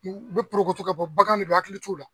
U bɛ porogoto ka bɔ bagan ne don hakili t'u la.